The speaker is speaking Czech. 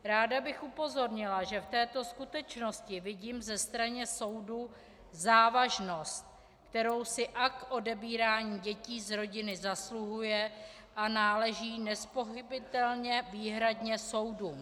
Ráda bych upozornila, že v této skutečnosti vidím ze strany soudů závažnost, kterou si akt odebírání dětí z rodiny zasluhuje, a náleží nezpochybnitelně výhradně soudům.